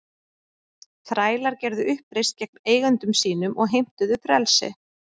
Þrælar gerðu uppreisn gegn eigendum sínum og heimtuðu frelsi.